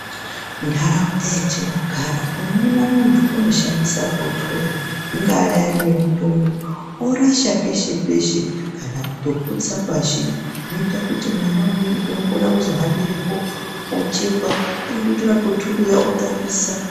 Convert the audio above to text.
Nharaunda yatinogara unoona muntu unoshandisa bhotoro ringaa raiya nemutombo orasha peshe peshe kana kutoputsire pashi zvinoite kuti mwan umweni uno kone kuzohambire po ochekwa kana kutore bhotoro riya otambisa.